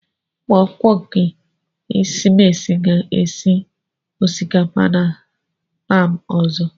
Ụmụakwụkwọ nke esimesi ga-esi osikapa na taam ozo.